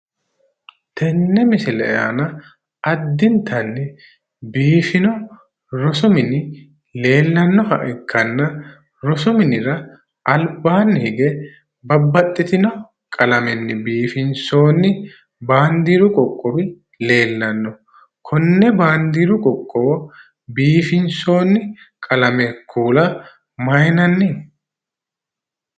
Tenne misile aana addintanni biifino rosu mini leellannoha ikkanna rosu minira albaanni hige babbaxxitino qalamenni biifinsoonni baandeeru qoqqowi leellanno. Konne baandeeru qoqqowo biifinsoonni qalame kuula mayinanni?